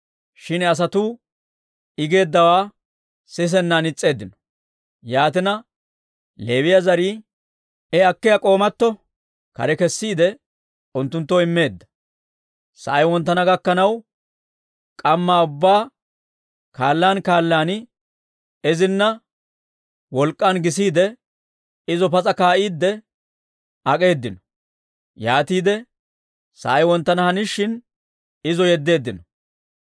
Shin asatuu I geeddawaa sisennan is's'eeddino. Yaatina, bitanii bare akkiyaa k'oomatto kare kessiide, unttunttoo immeedda; sa'ay wonttana gakkanaw, k'ammaa ubbaa kaallaan kaallaan izinna wolk'k'aan gisiide, izo pas'a kaa'iidde ak'eeddino; yaatiide sa'ay wonttana hanishshin, izo yeddeeddino.